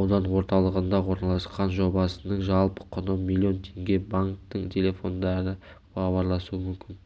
аудан орталығында орналасқан жобасының жалпы құны миллион теңге банктің телефондарына хабарласу мүмкін